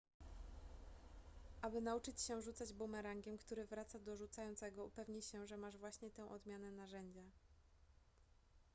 aby nauczyć się rzucać bumerangiem który wraca do rzucającego upewnij się że masz właśnie tę odmianę narzędzia